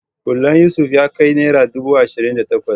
Hulan Yusuf ya kai naira ɗubu ashirin da takwas